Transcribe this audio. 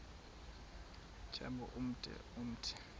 tyambo ude umthi